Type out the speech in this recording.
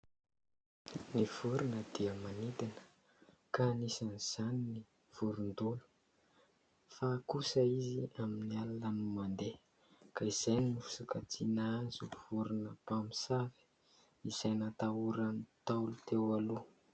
Ny vorona dia manidina ka anisan'izany ny vorondolo ; fa kosa izy amin'ny alina no mandeha ka izay no fisokajiana azy ho vorona mpamosavy izay natahoran'ny Ntaolo teo aloha.